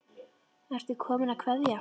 Ertu kominn að kveðja?